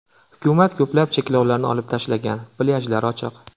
Hukumat ko‘plab cheklovlarni olib tashlagan, plyajlar ochiq.